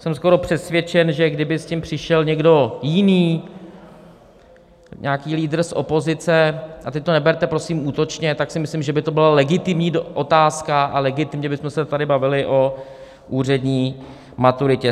Jsem skoro přesvědčen, že kdyby s tím přišel někdo jiný, nějaký lídr z opozice, a teď to neberte, prosím, útočně, tak si myslím, že by to byla legitimní otázka a legitimně bychom se tady bavili o úřední maturitě.